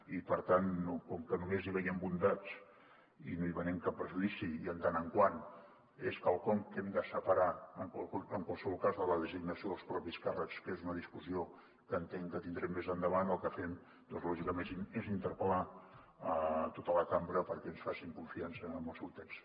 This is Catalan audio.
i per tant com que només hi veiem bondats i no hi veiem cap perjudici i donat que és quelcom que hem de separar en qualsevol cas de la designació dels propis càrrecs que és una discussió que entenc que tindrem més endavant el que fem lògicament és interpel·lar tota la cambra perquè ens facin confiança en el seu text